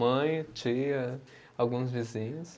Mãe, tia, alguns vizinhos.